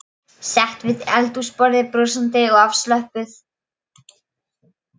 Sest við eldhúsborðið, brosandi og afslöppuð.